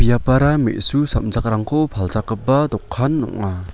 me·su samjakrangko palchakgipa dokan ong·a.